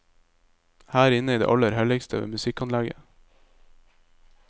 Her inne i det aller helligste ved musikkanlegget.